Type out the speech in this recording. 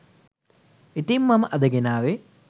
ඉතිං මම අද ගෙනාවේ